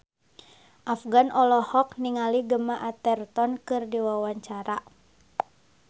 Afgan olohok ningali Gemma Arterton keur diwawancara